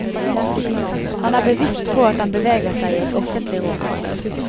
Han er bevisst på at han beveger seg i et offentlig rom.